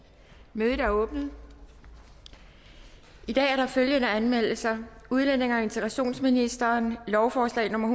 mødet er åbnet i dag er der følgende anmeldelser udlændinge og integrationsministeren lovforslag nummer